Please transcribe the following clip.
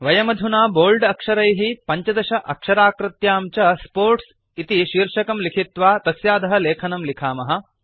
वयमधुना बोल्ड अक्षरैः 15 अक्षराकृत्यां च स्पोर्ट्स् इति शीर्षकं लिखित्वा तस्याधः लेखनं लिखामः